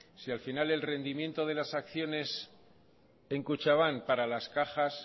si al final el rendimiento de las acciones en kutxabank para las cajas